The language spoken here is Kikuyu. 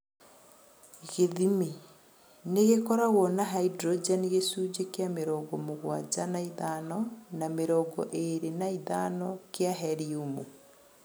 Gĩthimi- nĩ, ĩkoragwo na haidrojeni gĩcũnjĩ kĩa mĩrongo mũgwanja na ĩthano na mĩrongo ĩrĩ na ĩthano kĩa heliumu